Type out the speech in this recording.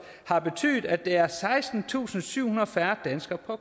har betydet at der er sekstentusinde og syvhundrede færre danskere på